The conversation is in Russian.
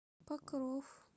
покров